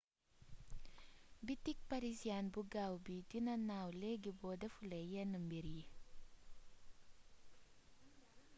bitik parisians bu gaaw bi dina naaw léégi boo défulé yénn mbir yi